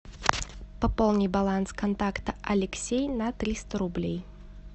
пополни баланс контакта алексей на триста рублей